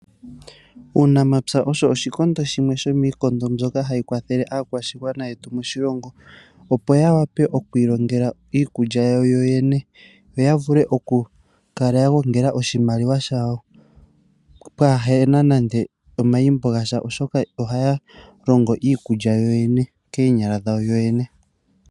Uunamapya osho oshikondo shimwe shomiikondo mbyoka hayi kwathele aakwashigwana yetu moshilongo opo yawape okwiilongela iikulya yawo yoyene yo yavule okukala yagongela oshimaliwa shawo pwaahena nande omayimbo gasha oshoka ohaya longo iikulya yoye koonyala dhawo.